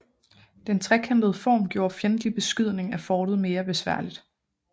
Den trekantede form gjorde fjendtlig beskydning af fortet mere besværligt